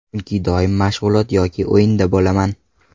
Chunki doim mashg‘ulot yoki o‘yinda bo‘laman.